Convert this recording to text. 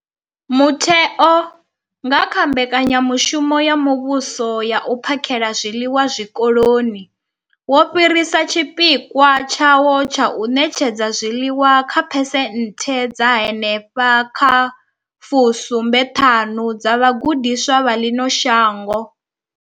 Mutheo, nga kha Mbekanya mushumo ya Muvhuso ya U phakhela zwiḽiwa Zwikoloni, wo fhirisa tshipikwa tshawo tsha u ṋetshedza zwiḽiwa kha phesenthe dza henefha kha fu sumbe thanu dza vhagudiswa vha ḽino shango.